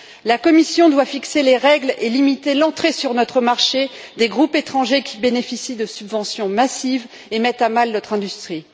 La Commission doit fixer les règles et limiter l'entrée sur notre marché des groupes étrangers qui bénéficient de subventions massives et mettent à mal notre industrie.